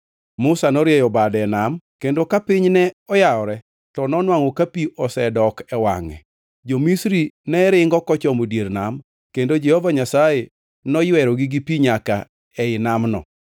Musa norieyo bade e nam kendo ka piny ne oyawore, to nonwangʼo ka pi osedok e wangʼe. Jo-Misri ne ringo kochomo dier nam, kendo Jehova Nyasaye noywerogi gi pi nyaka ei namno.